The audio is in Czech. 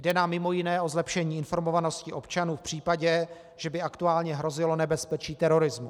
Jde nám mimo jiné o zlepšení informovanosti občanů v případě, že by aktuálně hrozilo nebezpečí terorismu.